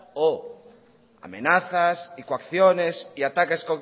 o amenazas y coacciones y ataques